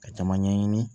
Ka caman ɲɛɲini